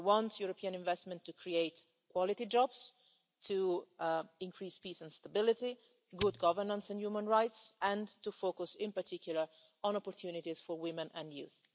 We want European investment to create quality jobs, to increase peace, stability and good governance in human rights, and to focus in particular on opportunities for women and youth.